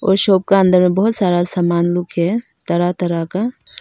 और शॉप के अंदर में बहुत सारा सामान लोग हैं तरह तरह का।